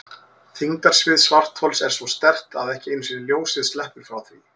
Þyngdarsvið svarthols er svo sterkt að ekki einu sinni ljósið sleppur frá því.